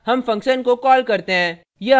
यहाँ हम function को कॉल करते हैं